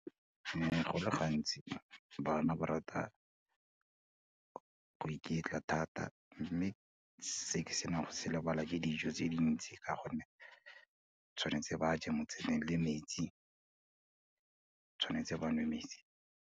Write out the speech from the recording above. Go le gantsi bana ba rata go iketla thata, mme se ke nang le go se lebala ke dijo tse dintsi, ka gonne tshwanetse ba je mo tseleng le metsi, tshwanetse ba nwe metsi.